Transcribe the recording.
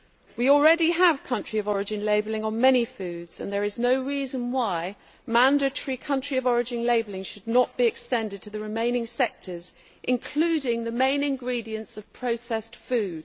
We already have country of origin labelling on many foods, and there is no reason why mandatory country of origin labelling should not be extended to the remaining sectors, including the main ingredients of processed food.